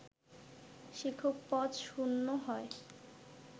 শিক্ষক পদ শূন্য হয়